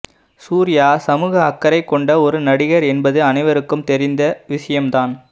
சூர்யா சமூக அக்கறை கொண்ட ஒரு நடிகர் என்பது அனைவருக்கும் தெரிந்த விஷயம் தான்